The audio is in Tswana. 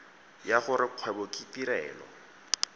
ya gore kgwebo ke tirelo